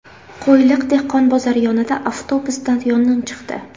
Qo‘yliq dehqon bozori yonida avtobusdan yong‘in chiqdi.